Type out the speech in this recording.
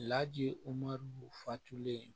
Laji fatulen